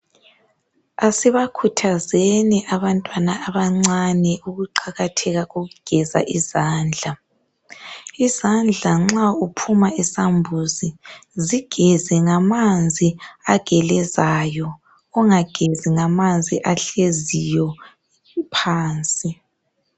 Asibakhuthazeni abantwana abancane ukuqakatheka kokugeza izandla, izandla nxa uphuma esambuzi zigeze ngamanzi agelezayo ungagezi ngamanzi ahleziyo phansi